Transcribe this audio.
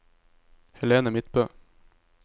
Helene Midtbø